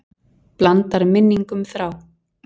Blandar minningum þrá.